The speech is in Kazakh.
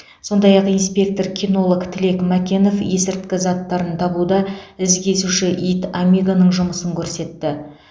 сондай ақ инспектор кинолог тілек мәкенов есірткі заттарын табуда із кесуші ит амигоның жұмысын көрсетті